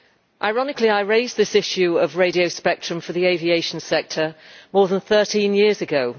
Ironically, I raised this issue of radio spectrum for the aviation sector more than 13 years ago.